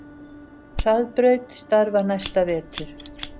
Hraðbraut starfar næsta vetur